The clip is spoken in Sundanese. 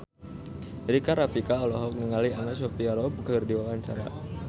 Rika Rafika olohok ningali Anna Sophia Robb keur diwawancara